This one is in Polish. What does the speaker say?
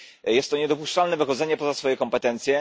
Jest to niedopuszczalne wychodzenie poza swoje kompetencje.